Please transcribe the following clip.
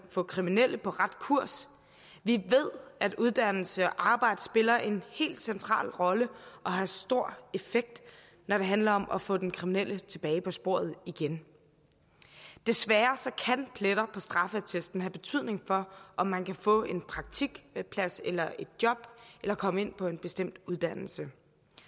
få kriminelle på ret kurs vi ved at uddannelse og arbejde spiller en helt central rolle og har stor effekt når det handler om at få den kriminelle tilbage på sporet igen desværre kan pletter på straffeattesten have betydning for om man kan få en praktikplads eller et job eller komme ind på en bestemt uddannelse